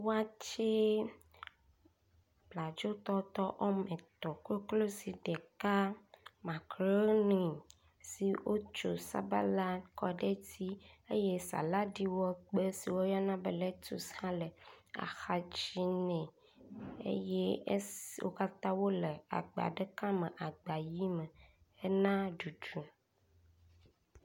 Watsɛ, bladzo tɔtɔ wɔme etɔ̃, koklodzi ɖeka, makroni si wotso sabala kɔ ɖe edzi eye saladi wɔ gbe si woyɔna be letus hã le axadzi nɛ eye esi wo katã wo le agba ɖeka me agba ʋi me hena ɖuɖu.